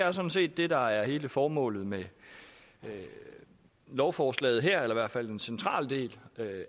er sådan set det der er hele formålet med lovforslaget her eller i hvert fald en central del